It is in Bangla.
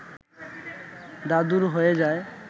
দাদুর হয়ে যায়